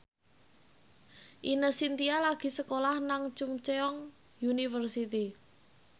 Ine Shintya lagi sekolah nang Chungceong University